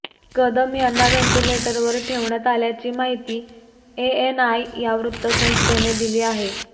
कदम यांना व्हेंटिलेटरवर ठेवण्यात आल्याची माहिती एएनआय या वृत्तसंस्थेने दिली आहे